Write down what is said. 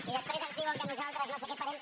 i després ens diuen que nosaltres no sé què farem